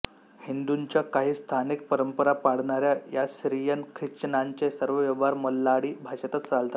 हिंदूंच्या काही स्थानिक परंपरा पाळणाऱ्या या सीरियन ख्रिश्चनांचे सर्व व्यवहार मल्याळी भाषेतच चालतात